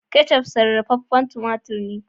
" ketchup " sarrafafen tumatur ne.